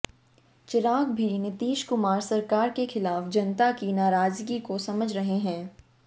चिराग भी नीतीश कुमार सरकार के खिलाफ जनता की नाराजगी को समझ रहे हैं